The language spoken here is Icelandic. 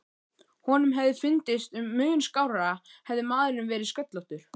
Honum hefði fundist mun skárra hefði maðurinn verið sköllóttur.